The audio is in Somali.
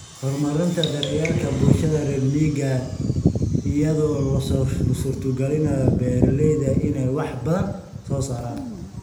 Horumarinta daryeelka bulshada reer miyiga ah iyada oo loo suurtagelinayo beeralayda inay wax badan soo saaraan.